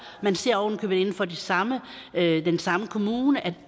man ser ovenikøbet inden for den samme den samme kommune at